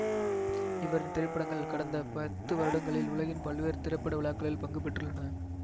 இவரின் திரைப்படங்கள் கடந்த பத்து வருடங்களில் உலகின் பல்வேறு திரைப்பட விழாக்களில் பங்கு பெற்றுள்ளன